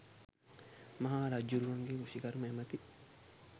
මහා රජ්ජුරුවන්ගේ කෘෂිකර්ම ඇමති